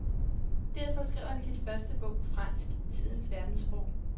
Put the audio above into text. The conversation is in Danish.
Derfor skrev han sin første bog på fransk, tidens verdenssprog.